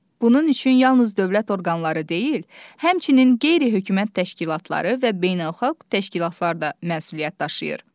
Bunun üçün yalnız dövlət orqanları deyil, həmçinin qeyri-hökumət təşkilatları və beynəlxalq təşkilatlar da məsuliyyət daşıyır.